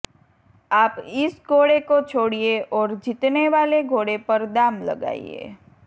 આપ ઇસ ઘોડે કો છોડીએ ઔર જીતનેવાલે ઘોડે પર દામ લગાઈએ